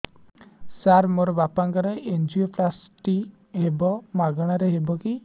ସାର ମୋର ବାପାଙ୍କର ଏନଜିଓପ୍ଳାସଟି ହେବ ମାଗଣା ରେ ହେବ କି